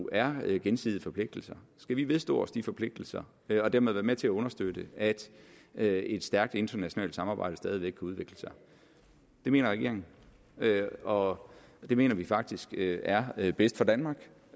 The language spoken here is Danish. er jo gensidige forpligtelser skal vi vedstå os de forpligtelser og dermed være med til at understøtte at at et stærkt internationalt samarbejde stadig væk kan udvikle sig det mener regeringen og det mener vi faktisk er er bedst for danmark